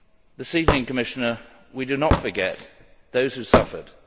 This evening, Commissioner, we do not forget those who suffered.